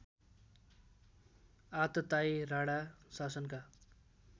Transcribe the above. आततायी Rana शासनका